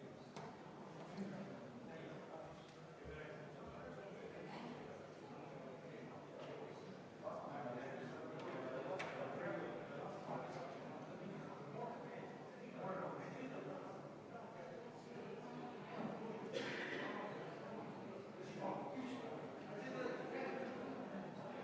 Hääletustulemused Muudatusettepaneku nr 2 poolt hääletas 24 ja vastu oli 71 Riigikogu liiget, erapooletuid ei olnud.